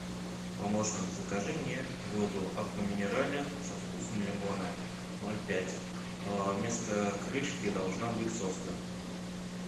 помощник закажи мне воду аква минерале со вкусом лимона ноль пять вместо крышки должна быть соска